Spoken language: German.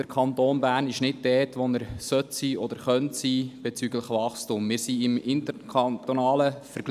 – Der Kanton Bern ist bezüglich des Wachstums nicht dort, wo er sein könnte oder sein sollte.